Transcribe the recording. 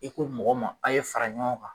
I ko mɔgɔ ma a ye fara ɲɔgɔn kan